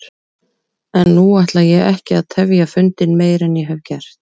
En nú ætla ég ekki að tefja fundinn meir en ég hef gert.